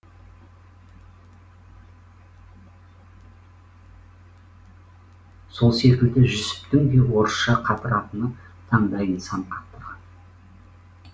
сол секілді жүсіптің де орысша қатыратыны таңдайын сан қақтырған